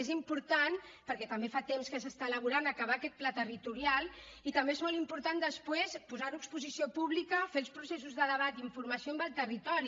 és important perquè també fa temps que s’està elaborant acabar aquest pla territorial i també és molt important després posar ho a exposició pública fer els processos de debat i informació amb el territori